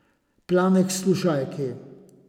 Plane k slušalki.